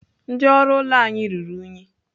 Ndị ọrụ ụlọ anyị ruru unyi.